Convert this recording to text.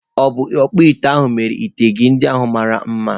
Ọ̀ bụ ọkpụite a mere ite gị ndị ahu mara mma?